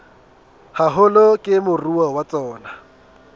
haholo ke moruo wa tsona